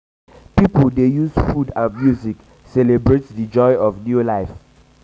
pipo dey use celebrate dey use celebrate di joy of new life with food music and dance.